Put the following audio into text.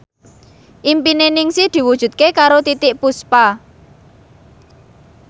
impine Ningsih diwujudke karo Titiek Puspa